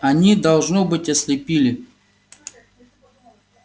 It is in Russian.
они должно быть ослепили